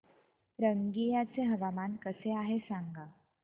रंगिया चे हवामान कसे आहे सांगा